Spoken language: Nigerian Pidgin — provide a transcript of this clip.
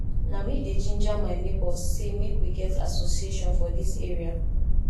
na me dey ginger my nebors sey make we get association for dis area